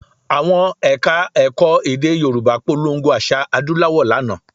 Àwọn Ẹ̀ka-ẹ̀kọ́ èdè Yorùbá polongo àṣà adúláwò lánàá